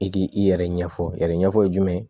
I k'i yɛrɛ ɲɛfɔ yɛrɛ ɲɛfɔ jumɛn